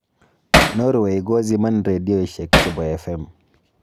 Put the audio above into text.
Norway koziman rendioshek chebo FM.